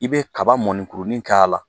I bɛ kaba mɔnikurunin k'a la